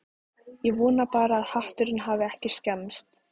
Ég vona bara að hatturinn hafi ekki skemmst